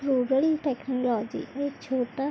rural technology और छोटा--